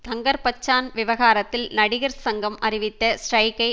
தங்கர் பச்சான் விவகாரத்தில் நடிகர் சங்கம் அறிவித்த ஸ்டிரைக்கை